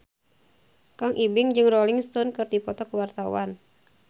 Kang Ibing jeung Rolling Stone keur dipoto ku wartawan